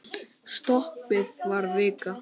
Stoppið var vika.